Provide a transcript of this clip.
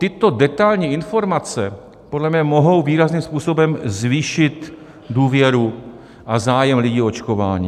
Tyto detailní informace podle mě mohou výrazným způsobem zvýšit důvěru a zájem lidí o očkování.